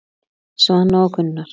Svana og Gunnar.